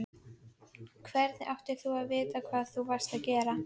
Hvernig áttir þú að vita hvað þú varst að gera?